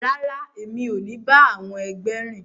Rara, emi o ni ba àwọn ẹgbẹ rìn!